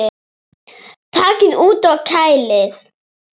Takið út og kælið.